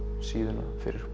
síðuna fyrir